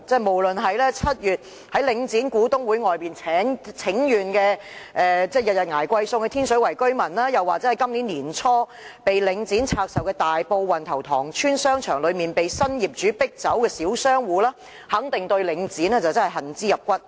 無論是7月在領展股東會外請願、每日捱貴餸菜的天水圍居民，或是今年年初領展拆售大埔運頭塘邨商場後被新業主迫走的小商戶，都肯定對領展恨之入骨。